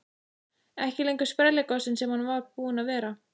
Ekki lengur sprelligosinn sem hann var búinn að vera.